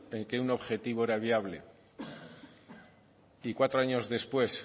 en que un objetivo era viable y cuatro años después